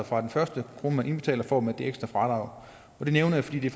fra den første krone man indbetaler får man altså det ekstra fradrag det nævner jeg fordi det